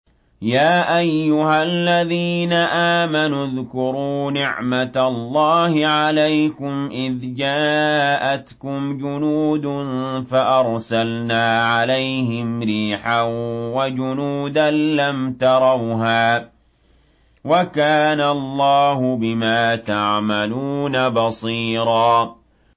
يَا أَيُّهَا الَّذِينَ آمَنُوا اذْكُرُوا نِعْمَةَ اللَّهِ عَلَيْكُمْ إِذْ جَاءَتْكُمْ جُنُودٌ فَأَرْسَلْنَا عَلَيْهِمْ رِيحًا وَجُنُودًا لَّمْ تَرَوْهَا ۚ وَكَانَ اللَّهُ بِمَا تَعْمَلُونَ بَصِيرًا